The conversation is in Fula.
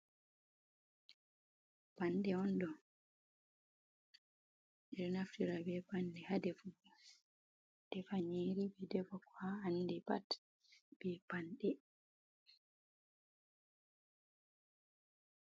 Pande ondo bedo naftira be pande hadefugo, defanyiri be defa ko a andi pat be pande.